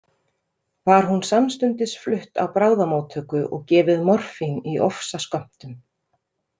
Var hún samstundis flutt á bráðamóttöku og gefið morfín í ofsaskömmtum.